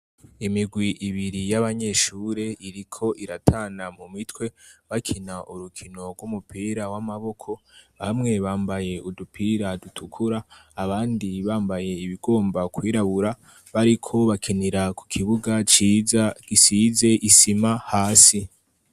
Imigwi ibiri y'abanyeshure iriko iratana mu mitwe bakina urukino rw'umupira w'amaboko bamwe bambaye udupira dutukura abandi bambaye ibigomba kwirabura bariko bakinira ku kibuga gisize isima hasi.